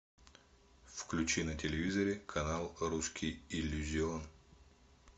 включи на телевизоре канал русский иллюзион